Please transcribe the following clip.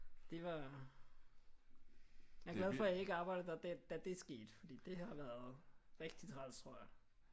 Det var jeg er glad for at jeg ikke arbejdede der da det skete fordi det har været rigtig træls tror jeg